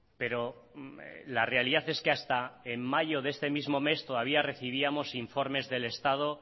pero la realidad es que hasta en mayo de este mes todavía recibíamos informes del estado